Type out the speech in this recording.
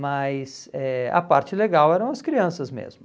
Mas eh a parte legal eram as crianças mesmo.